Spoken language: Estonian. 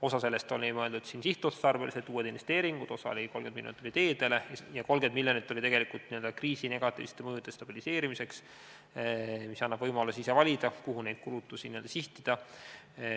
Osa sellest oli mõeldud sihtotstarbeliseks kasutuseks – uued investeeringud, 30 miljonit teedele – ja 30 miljonit oli tegelikult kriisi negatiivsete mõjude stabiliseerimiseks, st see annab võimaluse ise valida, kuhu neid kulutusi sihtida.